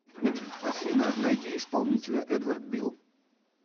афина найди исполнителя эдвард бил